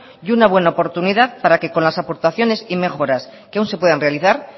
y una buena oportunidad para que con las aportaciones y mejoras que aún se puedan realizar